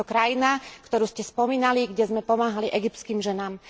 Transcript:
Je to krajina, ktorú ste spomínali, kde sme pomáhali egyptským ženám.